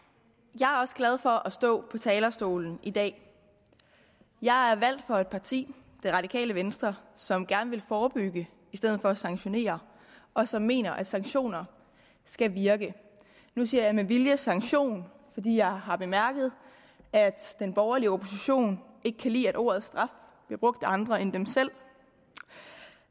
jeg er også glad for at stå på talerstolen i dag jeg er valgt for et parti det radikale venstre som gerne vil forebygge i stedet for at sanktionere og som mener at sanktioner skal virke nu siger jeg med vilje sanktioner fordi jeg har bemærket at den borgerlige opposition ikke kan lide at ordet straf bliver brugt af andre end dem selv